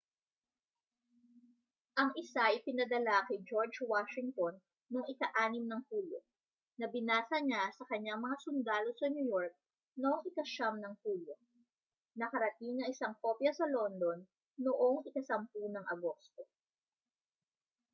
ang isa ay ipinadala kay george washington noong hulyo 6 na binasa niya sa kaniyang mga sundalo sa new york noong hulyo 9 nakarating ang isang kopya sa london noong agosto 10